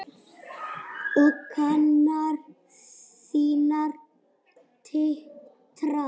Og kinnar þínar titra.